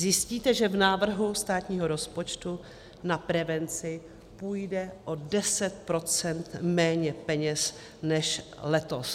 Zjistíte, že v návrhu státního rozpočtu na prevenci půjde o 10 % méně peněz než letos.